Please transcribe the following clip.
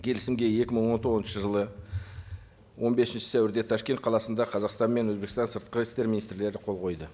келісімге екі мың он тоғызыншы жылы он бесінші сәуірде ташкент қаласында қазақстан мен өзбекстан сыртқы істер министрлері қол қойды